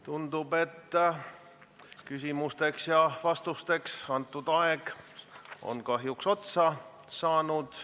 Tundub, et küsimusteks ja vastusteks antud aeg on kahjuks otsa saanud.